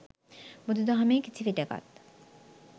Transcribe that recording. බුදු දහමේ කිසි විටෙකත්